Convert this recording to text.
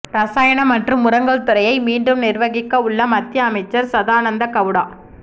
ரசாயனம் மற்றும் உரங்கள் துறையை மீண்டும் நிர்வகிக்க உள்ள மத்திய அமைச்சர் சதானந்த கவுடா